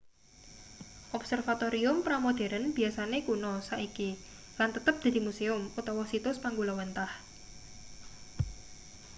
observatorium pra-modheren biyasane kuna saiki lan tetep dadi musium utawa situs panggulawenthah